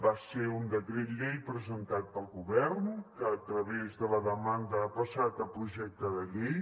va ser un decret llei presentat pel govern que a través de la demanda ha passat a projecte de llei